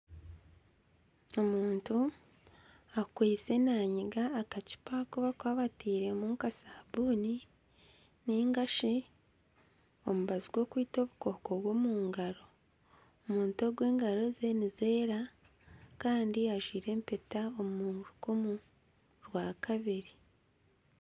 Omuntu akwitse naamiga akacupa aku barikuba batairemu nka sabuuni ninga shi omubazi gw'okwita obukooko omu ngaaro omuntu ogu engaro ze nizeera kandi ajwire empeta omu rukumu orwa kabiri